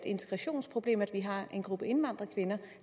integrationsproblem at vi har en gruppe indvandrerkvinder